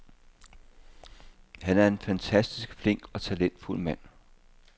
Han er en fantastisk flink og talentfuld mand.